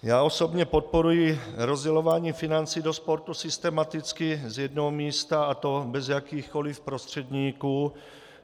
Já osobně podporuji rozdělování financí do sportu systematicky z jednoho místa, a to bez jakýchkoliv prostředníků.